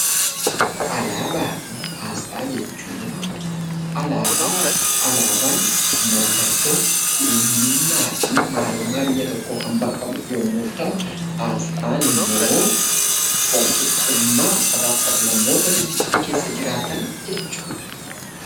Alaabaa fi asxaa jechuun Alaabaan maallatoo, eenyuumma fi maalummaa biyyaa tokko kan bakka ba'uu yommuu ta'u, asxaan immoo walqixumaa saba fi sab-lammoota biyyaatti keessa jiraatan jechuudha.